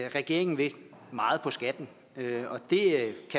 regeringen vil meget på skatten